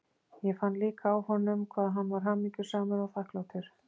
Ég fann líka á honum hvað hann var hamingjusamur og þakklátur